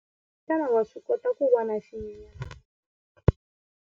Xana wa swi kota ku vona xinyenyana eka murhi lowuya?